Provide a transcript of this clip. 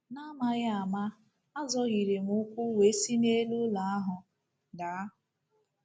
N'amaghị ama azọhiere m ụkwụ wee si n’elu ụlọ ahụ daa.